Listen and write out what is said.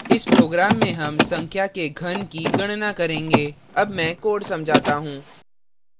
इस program में हम संख्या के in की गणना करेंगे अब मैं code समझाता हूँ